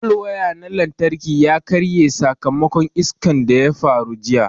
Palwaya na lantarki ya karye sakamakon iskan da ƴa faru jiƴa.